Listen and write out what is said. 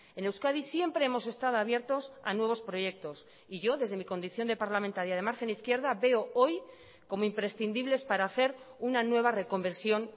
en euskadi siempre hemos estado abiertos a nuevos proyectos y yo desde mi condición de parlamentaria de margen izquierda veo hoy como imprescindibles para hacer una nueva reconversión